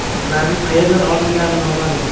Ularning qayerdan olingani noma’lum.